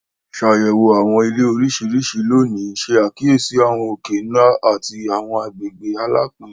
Ṣàyẹ̀wò àwọn Ilẹ̀ oríṣiríṣi lónìí, ṣe àkíyèsí àwọn òkè-ńlá àti àwọn agbègbè alapin.